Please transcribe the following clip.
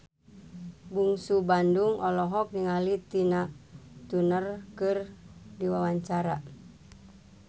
Bungsu Bandung olohok ningali Tina Turner keur diwawancara